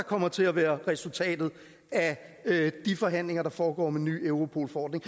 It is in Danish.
kommer til at være resultatet af de forhandlinger der foregår om en ny europol forordning